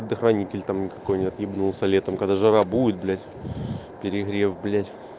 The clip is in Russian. предохранителей там никакой нет ебнулся летом когда жара будет блять перегрев блять